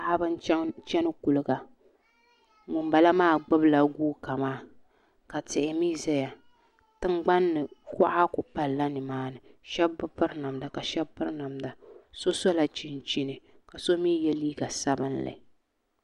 Paɣaba n chɛni kuliga ŋunbala maa gbubila guuka maa ka tihi mii ʒɛya tingbanni kuɣa ku palla nimaani shab bi piri namda ka shab piri namda so sola chinchini ka so mii yɛ liiga sabinli